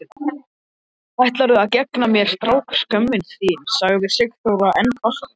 Ætlarðu að gegna mér, strákskömmin þín? sagði Sigþóra enn hvassari.